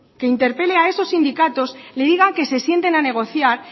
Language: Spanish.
que interpelen a esos sindicatos le digan que se sienten a negociar